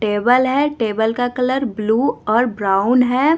Table है table का colour blue और ब्राउन है।